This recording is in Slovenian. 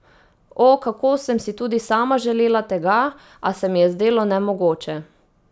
O, kako sem si tudi sama želela tega, a se mi je zdelo nemogoče.